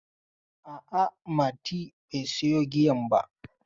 A'a, Mati bai sayo giyan ba.